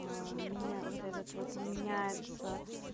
меня вот этот вот меняется